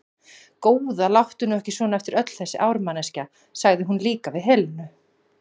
Góða, láttu nú ekki svona eftir öll þessi ár, manneskja, sagði hún líka við Helenu.